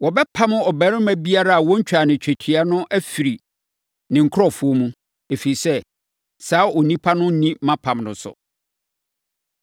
Wɔbɛpam ɔbarima biara a wɔntwaa no twetia no afiri ne nkurɔfoɔ mu, ɛfiri sɛ, saa onipa no anni mʼapam no so.”